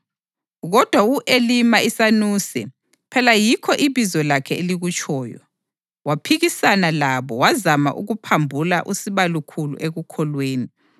Kodwa u-Elima isanuse (phela yikho ibizo lakhe elikutshoyo) waphikisana labo wazama ukuphambula usibalukhulu ekukholweni.